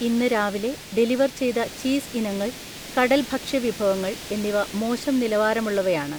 ഇന്ന് രാവിലെ ഡെലിവർ ചെയ്ത ചീസ് ഇനങ്ങൾ, കടൽ ഭക്ഷ്യ വിഭവങ്ങൾ എന്നിവ മോശം നിലവാരമുള്ളവയാണ്